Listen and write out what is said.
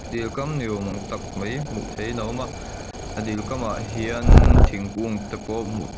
dil kam ni awm ang tak mai hmuh theihin a awma a dil kamah hian thingkung te pawh hmuh--